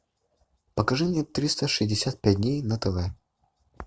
покажи мне триста шестьдесят пять дней на тв